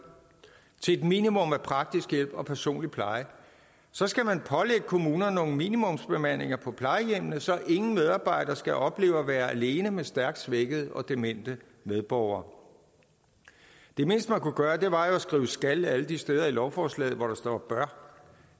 til et minimum af praktisk hjælp og personlig pleje og så skal man pålægge kommunerne nogle minimumsbemandinger på plejehjemmene så ingen medarbejder skal opleve at være alene med stærkt svækkede og demente medborgere det mindste man kunne gøre var jo at skrive skal alle de steder i lovforslaget hvor der står bør